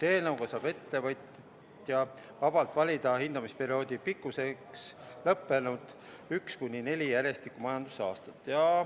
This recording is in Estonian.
Eelnõu järgi saab ettevõtja vabalt valida hindamisperioodi pikkuseks üks kuni neli järjestikust majandusaastat.